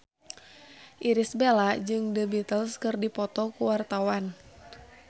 Irish Bella jeung The Beatles keur dipoto ku wartawan